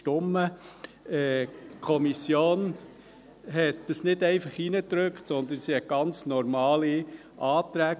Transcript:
Die Kommission hat dies nicht einfach hineingedrückt, sondern sie stellte ganz normale Anträge.